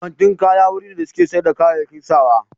Kantin kaya wuri ne da suke sayar da kayayyaki sawa.